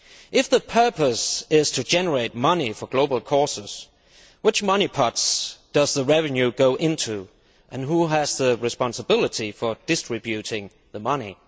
If the purpose is to generate money for global causes, which money pots does the revenue go into, and who has the responsibility for distributing the money?